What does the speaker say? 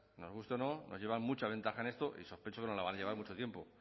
nos guste o no nos llevan mucha ventaja en esto y sospecho que nos la van a llevar mucho tiempo